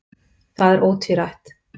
Það er ótvírætt.